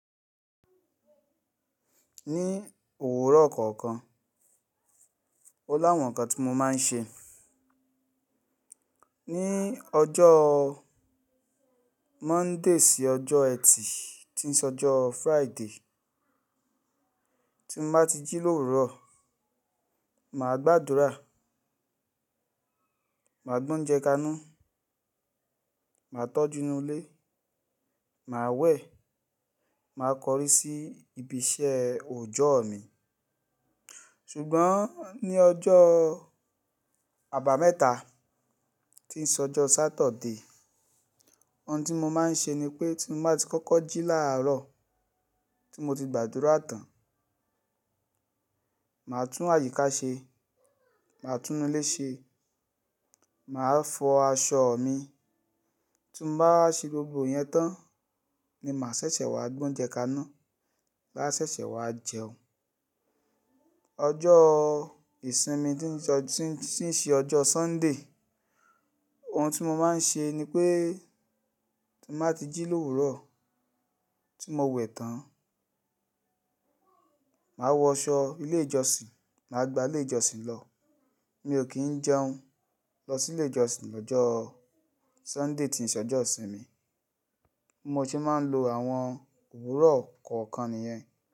Ní òwúrọ̀ kọ̀ọ̀kan, ó láwọn nǹkan tí mo máa ń ṣe. Ni ọjọ́ Monday sí ọjọ́ Ẹtì tí ń sọ ọjọ́ Friday, tí mo bá ti jí l'òwúrọ̀, màá gbàdúrà, màá gbó ń jẹ kaná, màá tọ́jú inú ilé, màá wẹ̀, màá kọrí sí ibi iṣẹ́ òjọ́ mi. Ṣùgbọ́n ní ọjọ́ àbámẹ́ta tí ń sọ ọjọ́ Saturday, ohun tí mo máa ń ṣe ni pé tí mo bá ti kọ́kọ́ jí láàárọ̀ tí mo ti gbàdúrà tán, màá tún àyíká ṣe, màá tún inú ilé ṣe, màá fọ aṣọ mi. Tí mo bá ṣe gbogbo ìyẹn tán ni màá ṣẹ̀ṣẹ̀ wá gbó ń jẹ kaná, láṣẹ̀ṣẹ̀ wá jẹun. Ọjọ́ ìsinmi tí ń ṣe ọjọ́ Sunday, ohun tí mo máa ń ṣe ni pé tí mo bá ti jí l'òwúrọ̀ tí mo wẹ̀ tán, màá wọ aṣọ ilé ìjọsìn, màá gba ilé ìjọsìn lọ. Mi ò kí ń jẹun lọ sí ilé ìjọsìn lọ́jọ́ Sunday tí ń ṣe ọjọ́ ìsinmi. Mo sì máa ń lo àwọn òwúrọ̀ kọ̀ọ̀kan nìyẹn.